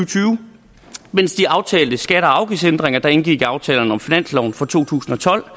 mens de aftalte skatte og afgiftsændringer der indgik i aftalen om finansloven for to tusind og tolv